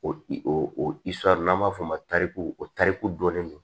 O o n'an b'a f'o ma tariku o tariku dɔnnen don